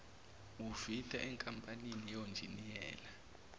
wufitha enkampanini yonjiniyela